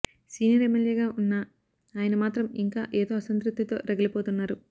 senior ఎమ్మెల్యేగా ఉన్నా ఆయన మాత్రం ఇంకా ఏదో అసంతృప్తితో రగిలిపోతున్నారు